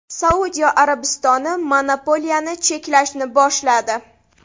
Saudiya Arabistoni monopoliyani cheklashni boshladi.